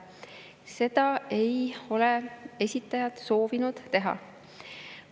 Seda ei ole esitajad soovinud teha.